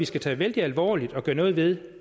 skal tage vældig alvorligt og gøre noget ved